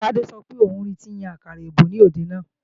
Tádé sọ pé òun ri tọ́ ń yan àkàrà èbó ní òde náà